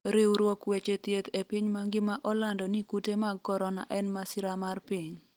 riwruok weche thieth e piny mangima olando ni kute mag Korona en masira mar piny